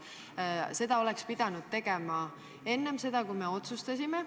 Aga seda oleks pidanud tegema enne, kui me otsustasime.